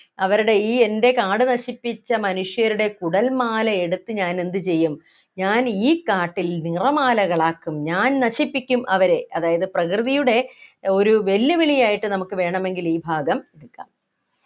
അവരുടെ ഈ എൻ്റെ കാട് നശിപ്പിച്ച മനുഷ്യരുടെ കുടൽമാലയെടുത്ത് ഞാൻ എന്തു ചെയ്യും ഞാൻ ഈ കാട്ടിൽ നിറമാലകളാക്കും ഞാൻ നശിപ്പിക്കും അവരെ അതായത് പ്രകൃതിയുടെ ഒരു വെല്ലുവിളിയായിട്ട് നമുക്ക് വേണമെങ്കിൽ ഈ ഭാഗം എടുക്കാം